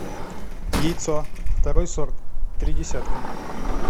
яйцо второй сорт три десятка